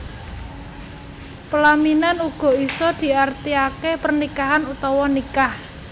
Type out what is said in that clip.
Pelaminan uga isa diarti ake pernikahan utawa nikah